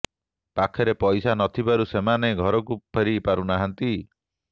ପାଖରେ ପଇସା ନ ଥିବାରୁ ସେମାନେ ଘରକୁ ଫେରି ପାରୁନାହାନ୍ତି